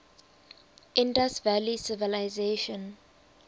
indus valley civilization